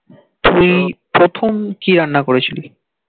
তুই প্রথম কি রান্না করেছিলি?